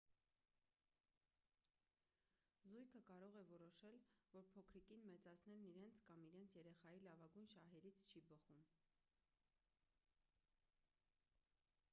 զույգը կարող է որոշել որ փոքրիկին մեծացնելն իրենց կամ իրենց երեխայի լավագույն շահերից չի բխում